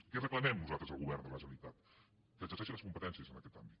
què reclamem nosaltres al govern de la generali·tat que exerceixi les competències en aquest àmbit